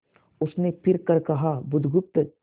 उसने फिर कर कहा बुधगुप्त